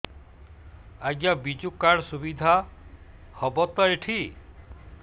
ଆଜ୍ଞା ବିଜୁ କାର୍ଡ ସୁବିଧା ହବ ତ ଏଠି